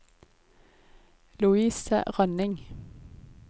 Louise Rønning